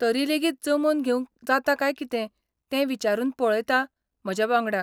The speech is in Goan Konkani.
तरी लेगीत जमोवन घेवंक जाता काय कितें तें विचारून पळयतां म्हज्या वांगड्यांक.